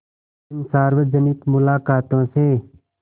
इन सार्वजनिक मुलाक़ातों से